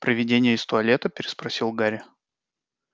привидение из туалета переспросил гарри